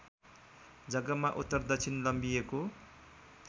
जग्गामा उत्तरदक्षिण लम्बिएको